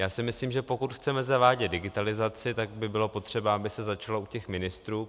Já si myslím, že pokud chceme zavádět digitalizaci, tak by bylo potřeba, aby se začalo u těch ministrů.